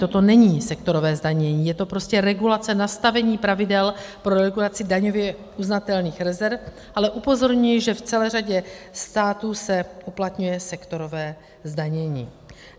Toto není sektorové zdanění, je to prostě regulace, nastavení pravidel pro regulaci daňově uznatelných rezerv, ale upozorňuji, že v celé řadě států se uplatňuje sektorové zdanění.